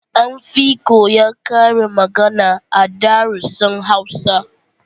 An fi koya karin magana a darussan Hausa